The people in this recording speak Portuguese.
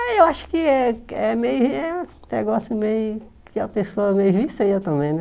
Ah eu acho que é é é meio é um negócio meio que a pessoa meio vicia também, né?